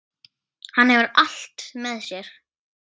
Hann hefur allt með sér.